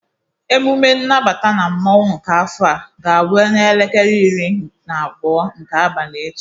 Ememe nnabata na mmanwụ nke afọ a ga-abụ n'elekere iri na abụọ nke abalị echi.